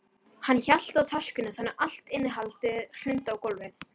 Hann hélt töskunni þannig að allt innihaldið hrundi á gólfið.